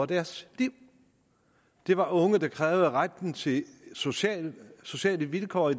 deres liv det var unge der krævede retten til sociale sociale vilkår